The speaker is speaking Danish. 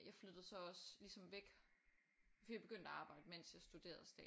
Jeg flyttede så også ligesom væk for jeg begyndte at arbejde mens jeg studerede